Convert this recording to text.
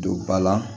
Don ba la